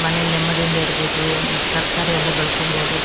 ಮನೇಲಿ ನೆಮ್ಮದಿಯಿಂದ ಇರಬಹುದು ಈ ತರಕಾರಿ ಎಲ್ಲ ಬೆಳ್ಕೋಬೋದು.